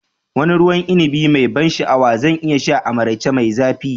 Wane ruwan inibi mai ban sha'awa zan iya sha a maraice mai zafi?